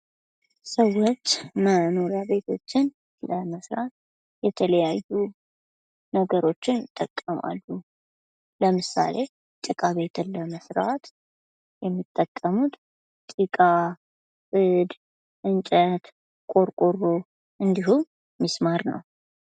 ሰዎች መኖሪያ ቤቶችን ለመስራት የተለያዩ ነገሮችን ይጠቀማልሉ። ለምሳሌ፦ ጭቃ ቤትን ለመስራት የሚጠቀሙት ጭቃ፣ ጽድ፣ እንጨት፣ ቆርቆሮ እንዲሁም ምስማር ነው።